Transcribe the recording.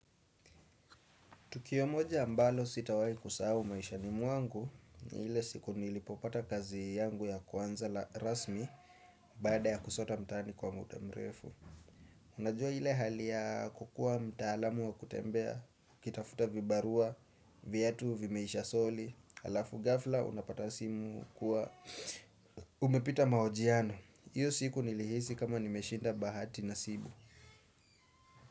Tukio moja ambalo sitawai kusahau maishani mwangu ni ile siku nilipopata kazi yangu ya kwanza la rasmi baada ya kusota mtaani kwa muda mrefu. Unajua ile hali ya kukua mtaalamu wa kutembea, ukitafuta vibarua, viatu vimeisha soli, alafu gafla unapata simu kuwa umepita mahojiano. Iyo siku nilihisi kama nimeshinda bahati nasibu.